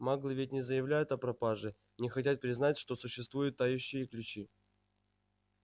маглы ведь не заявляют о пропаже не хотят признать что существуют тающие ключи